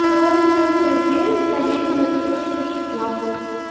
торговый центр эльгрин поедем на песочную шестнадцать